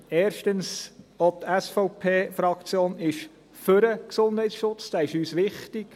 Erstens: Auch die SVP-Fraktion ist den Gesundheitsschutz, dieser ist uns wichtig.